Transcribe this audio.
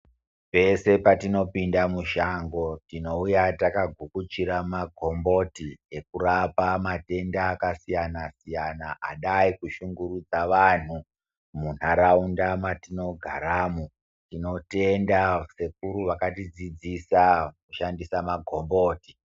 Pese patinopinda mushango tinouya takagukuchira magomboti, ekurapa matenda akasiyana-siyana, adai kushungurudza vanhu munharaunda matinogaramo. Tinotenda sekuru vakatidzidzisa kushandisa magomboti.